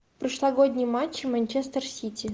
прошлогодний матч манчестер сити